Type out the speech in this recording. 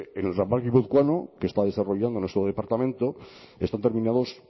en el ramal guipuzcoano que está desarrollando nuestro departamento están terminados